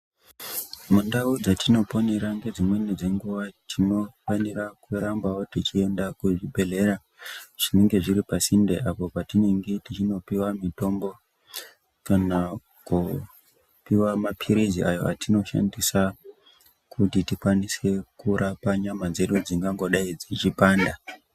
Mundau dzetinoponera ngedzimweni dzenguwa tinofanira kurambawo teienda kuzvibhehlera zvinenge zviri pasinde apo patienge teipuwa mitombo kana kopiwa mapilizi awo atinoshandisa kuti tirape nyama dzedu dzingangodai dzichipanda.